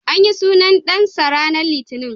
An yi sunan dansa ranar Litinin.